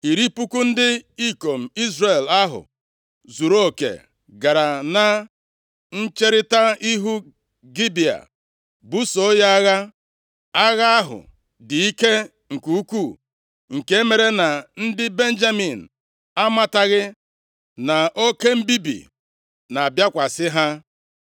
Iri puku ndị ikom Izrel ahụ zuruoke gara na ncherita ihu Gibea busoo ya agha. Agha ahụ dị ike nke ukwuu nke mere na ndị Benjamin amataghị na oke mbibi na-abịakwasị ha.